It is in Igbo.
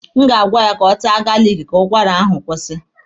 A ma agwa ya ka ọ taa galiki ka ụkwara ahụ kwụsị.